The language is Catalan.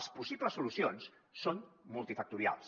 les possibles solucions són multifactorials